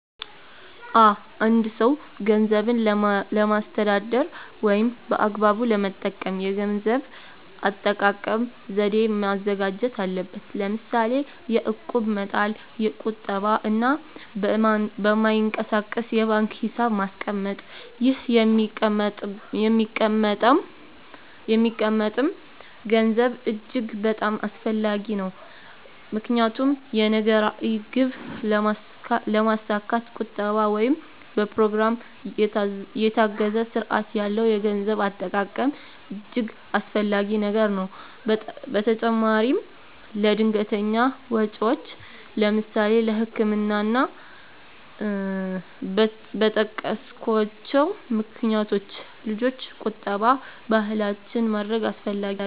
አ አንድ ሰው ገንዘብን ለማስተዳደር ወይም በአግባቡ ለመጠቀም የገንዘብ አጠቃቀም ዘዴ ማዘጋጀት አለበት ለምሳሌ የእቁብ መጣል ቁጠባ እና በማይንቀሳቀስ የባንክ ሒሳብ ማስቀመጥ ይህ የሚቀመጠም ገንዘብ እጅግ በጣም አስፈላጊ ነው ምክንያቱም የነገ ራዕይ ግብ ለማስካት ቁጠባ ወይም በኘሮግራም የታገዘ ስርአት ያለው የገንዘብ አጠቃቀም እጅገ አስፈላጊ ነገር ነው በተጨማራም ለድንገተኛ ወጨወች ለምሳሌ ለህክምና እና እና በጠቀስኮቸው ምክንያቶች ልጆች ቁጠባ ባህላችን ማድረግ አስፈላጊ ነው።